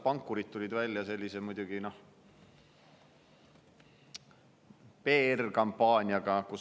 Pankurid tulid muidugi välja PR‑kampaaniaga.